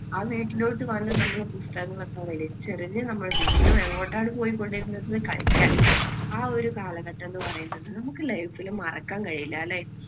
ആ വീട്ടിലോട്ട് വന്ന് നമ്മള് പുസ്തകങ്ങളൊക്കെ വലിച്ചെറിഞ്ഞ് നമ്മൾ വീണ്ടും എങ്ങോട്ടാണ് പോയിക്കൊണ്ടിരുന്നത് കളിക്കാൻ. ആ ഒരു കാലഘട്ടം എന്നു പറയുന്നത് നമുക്ക് life ൽ മറക്കാൻ കഴിയില്ല അല്ലേ?